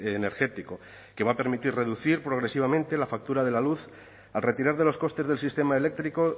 energético que va a permitir reducir progresivamente la factura de la luz al retirar de los costes del sistema eléctrico